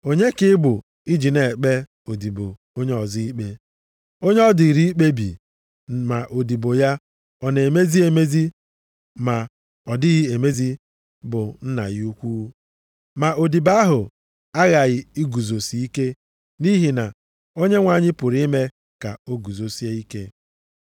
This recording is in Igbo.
Onye ka ị bụ i ji na-ekpe odibo onye ọzọ ikpe? Onye ọ dịrị ikpebi ma odibo ya ọ na-emezi emezi ma ọ dịghị emezi bụ nna ya ukwu. Ma odibo ahụ aghaghị iguzosi ike nʼihi na Onyenwe anyị pụrụ ime ka o guzosie ike.